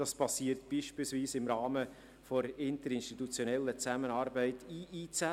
Das geschieht beispielsweise im Rahmen der interinstitutionellen Zusammenarbeit (IIZ).